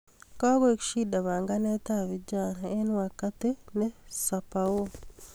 Kokoek shida panganet ab vijana eng wakati ne sapeo